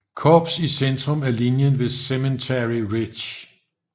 Korps i centrum af linjen ved Cemetery Ridge